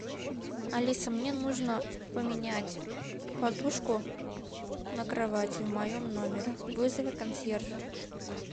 алиса мне нужно поменять подушку на кровати в моем номере вызови консьержа